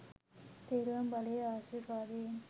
තෙරුවන් බලයේ ආශිර්වාදයෙන්.